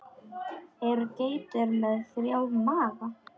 Eru geitur með þrjá maga?